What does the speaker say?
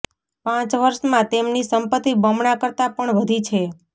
પાંચ વર્ષમાં તેમની સંપત્તિ બમણા કરતા પણ વધી છે